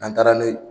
N'an taara n'o ye